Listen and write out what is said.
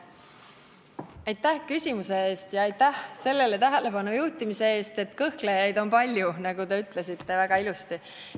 Aitäh küsimuse eest ja aitäh sellele tähelepanu juhtimise eest, et kõhklejaid on palju, nagu te väga õigesti ütlesite.